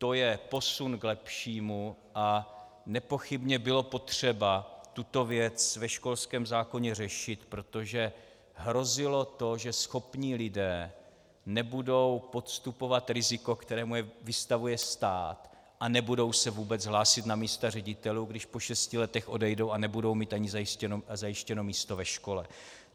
To je posun k lepšímu a nepochybně bylo potřeba tuto věc ve školském zákoně řešit, protože hrozilo to, že schopní lidé nebudou podstupovat riziko, kterému je vystavuje stát, a nebudou se vůbec hlásit na místa ředitelů, když po šesti letech odejdou a nebudou mít ani zajištěno místo ve škole.